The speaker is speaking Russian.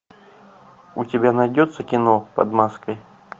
у тебя найдется кино под маской